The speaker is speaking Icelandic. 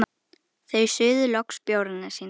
Þau suðu loks bjórana sína.